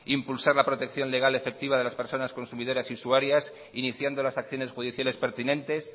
impulsar la protección legal efectiva de las personas consumidoras y usuarias iniciando las acciones judiciales pertinentes